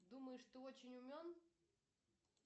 думаешь ты очень умен